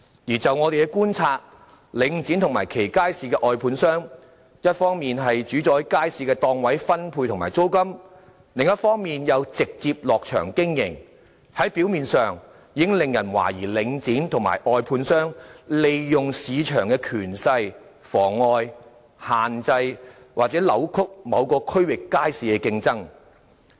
而就我們的觀察，領展及其街市的外判商，一方面主宰街市的檔位分配和租金，另一方面又直接"落場"經營；表面上，已令人懷疑領展及其外判商，利用市場權勢妨礙、限制或扭曲某個區域街市的競爭。